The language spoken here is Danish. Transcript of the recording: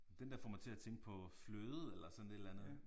Den der får mig til at tænke på fløde eller sådan et eller andet